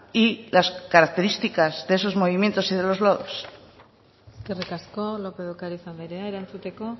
y las características de esos movimientos y de los lodos eskerrik asko lópez de ocariz andrea erantzuteko